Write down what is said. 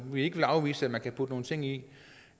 vil ikke afvise at man kan putte nogle ting ind